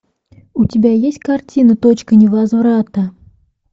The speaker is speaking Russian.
у тебя есть картина точка невозврата